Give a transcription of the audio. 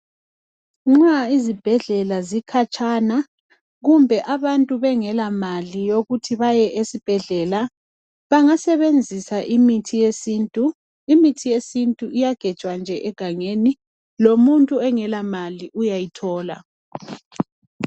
Nxa izibhedlela zikhatshana kumbe abantu bengela mali yokuthi bayezibhedlela bangasebenzisa imithi yesintu. Imithi le iyagejwa egangeni loba umuntu engelamali uyayithola.